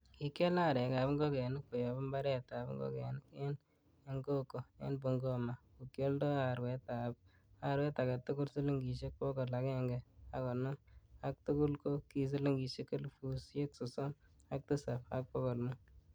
Kikial arekab ingogenik koyob imbaretab ingogenik en Engokho, en Bungoma ko kioldo arwet agetugul siligisek bogol agenge ak konoom, ak tugul ko ki silingisiek elfusiek sosom ak tisap, ak bogol mut.